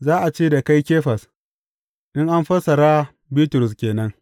Za a ce da kai Kefas in an fassara, Bitrus ke nan.